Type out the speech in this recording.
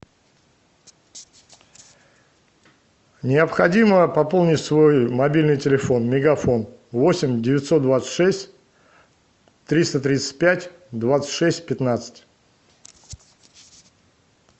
необходимо пополнить свой мобильный телефон мегафон восемь девятьсот двадцать шесть триста тридцать пять двадцать шесть пятнадцать